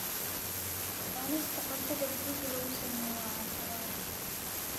Cunista cuntada guriga lagu sameeyo waa caafimaad.